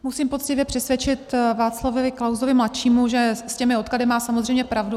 Musím poctivě přisvědčit Václavu Klausovi mladšímu, že s těmi odklady má samozřejmě pravdu.